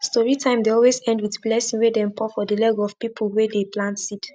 story time dey always end with blessing wey dem pour for the leg of people wey dey plant seed